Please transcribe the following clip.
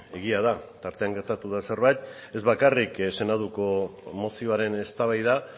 egia da tartean gertatu da zerbait ez bakarrik senatuko mozioaren eztabaida